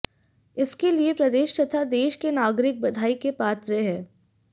इसके लिए प्रदेश तथा देश के नागरिक बधाई के पात्र हैं